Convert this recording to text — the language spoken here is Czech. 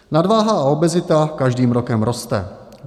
Nadváha a obezita každým rokem roste.